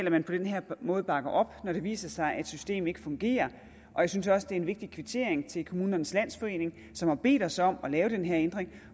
at man på den her måde bakker dem op når det viser sig at systemet ikke fungerer og jeg synes også det er en vigtig kvittering til kommunernes landsforening som har bedt os om at lave den her ændring